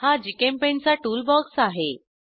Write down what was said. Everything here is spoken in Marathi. हा जीचेम्पेंट चा टूलबॉक्स आहे